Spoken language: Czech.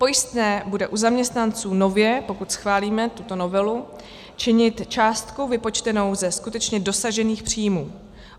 Pojistné bude u zaměstnanců nově, pokud schválíme tuto novelu, činit částku vypočtenou ze skutečně dosažených příjmů.